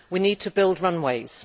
We need to build runways.